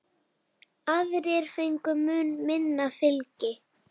Aðrir fengu mun minna fylgi.